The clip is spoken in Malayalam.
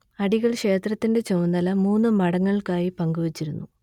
അടികൾ ക്ഷേത്രത്തിൻറെ ചുമതല മൂന്ന് മഠങ്ങൾക്കായി പങ്കുവച്ചിരുന്നു